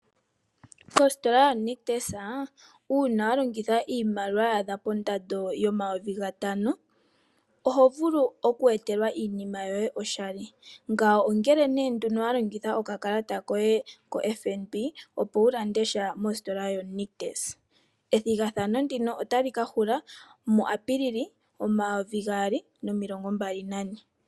Kostola yoNictus uuna wa longitha iimaliwa ya adha pondando yomayovi gatano, oho vulu okweetelwa iinima yoye oshali. Ngawo ongele nduno wa longitha okakalata koye koFNB, opo wu lande sha mostola yoNictus. Ethigathano ndino otali ka hula muApilili, omayovi gaali nomilongo mbali nane.